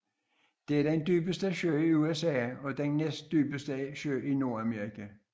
Det er den dybeste sø i USA og den næstdybeste sø i Nordamerika